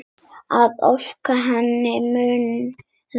Að ósk hennar muni rætast.